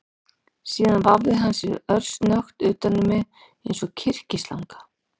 Síðan vafði hann sig örsnöggt utan um mig eins og kyrkislanga